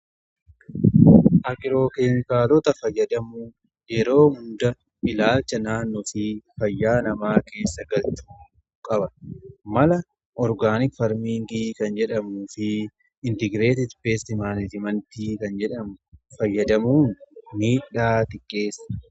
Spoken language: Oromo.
Agirookeenkaalota fayyadamuun yeroo hunda ilaalcha naannoo fi fayyaa namaa keessa galchuu qabna. Mala orgaanik farmiingii kan jedhamu fi intigireetitti beestimaaliimantii kan jedhamu fayyadamuun miidhaa ni xiqqeessa.